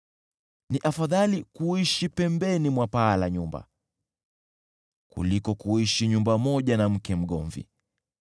Ni afadhali kuishi pembeni mwa paa la nyumba, kuliko kuishi nyumba moja na mke mgomvi.